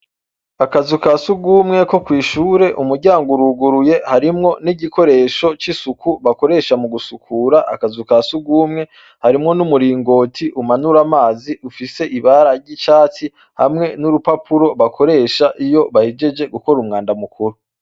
Akazu ka surwumwe ko kw'ishure umuryango uruguruye harimwo n'igikoresho c'isuku bakoresha mu gusukura akazu ka surwumwe harimwo n'umuringoti umanura amazi ufise ibara ry'icatsi hamwe n'urupapuro bakoresha iyo bahejeje gukora umwanda mukuru.